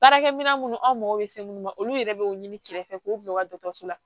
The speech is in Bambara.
Baarakɛ minɛ minnu aw mago bɛ se minnu ma olu yɛrɛ b'o ɲini kɛrɛfɛ k'u bila u ka dɔgɔtɔrɔso la